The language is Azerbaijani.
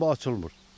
Amma açılmır.